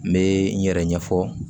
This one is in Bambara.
N bɛ n yɛrɛ ɲɛfɔ